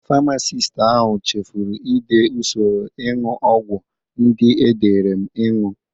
Famasist ahụ cheforo i de usoro ịñụ ọgwọ ndị edere m ịñụ.